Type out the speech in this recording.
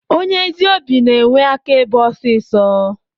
Onye ezi obi na enwe aka ebe osisọ.